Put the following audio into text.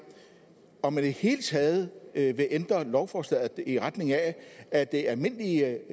om man i det hele taget vil ændre lovforslaget i retning af at det er almindelige